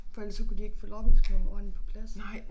For ellers så kunne de ikke få lårbensknoglen ordentlig på plads